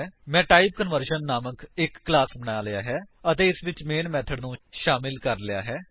ਮੈਂ ਟਾਈਪਕਨਵਰਸ਼ਨ ਨਾਮਕ ਇੱਕ ਕਲਾਸ ਬਣਾ ਲਿਆ ਹੈ ਅਤੇ ਇਸਵਿੱਚ ਮੇਨ ਮੇਥਡ ਨੂੰ ਸ਼ਾਮਿਲ ਕਰ ਲਿਆ ਹੈ